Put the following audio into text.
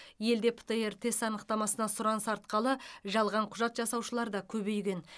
елде птр тест анықтамасына сұраныс артқалы жалған құжат жасаушылар да көбейген